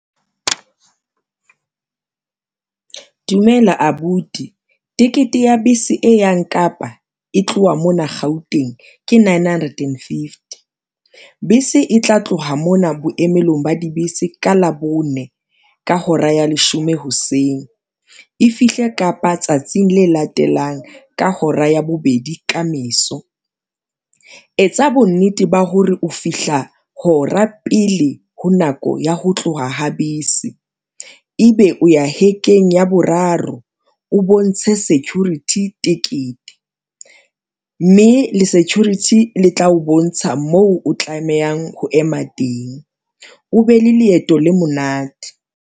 Dumela abuti ticket ya bese e yang Kapa e tloha mona Gauteng, ke nine hundred and fifty. Bese e tla tloha mona boemelong ba dibese ka Labone ka hora ya leshome hoseng. E fihle Kapa tsatsing le latelang ka hora ya bobedi ka meso. Etsa bo nnete ba hore o fihla hora pele ho nako ya ho tloha ho bese, e be o ya hekeng ya boraro o bontshe security tekete mme le security le tla o bontsha moo o tlamehang ho ema teng, o be le leeto le monate.